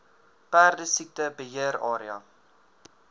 perdesiekte beheer area